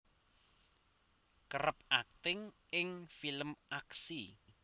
kerep akting ing film aksi